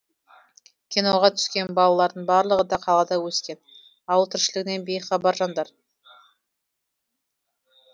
киноға түскен балалардың барлығы да қалада өскен ауыл тіршілігінен бейхабар жандар